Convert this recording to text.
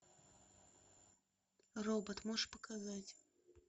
робот можешь показать